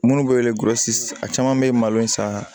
Minnu bɛ a caman bɛ malo in san